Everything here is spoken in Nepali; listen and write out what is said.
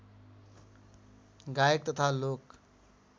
गायक तथा लोक